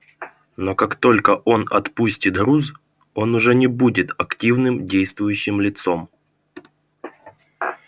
но как только он отпустит груз он уже не будет активным действующим лицом